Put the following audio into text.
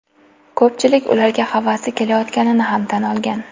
Ko‘pchilik ularga havasi kelayotganini ham tan olgan.